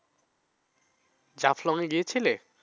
জাফলং এ গিয়েছিলে?